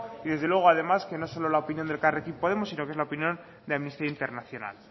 y desde luego además que no es solo la opinión de elkarrekin podemos sino que es la opinión de amnistía internacional